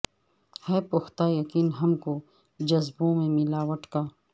ہے پختہ یقیں ہم کو جزبوں میں ملاوٹ کا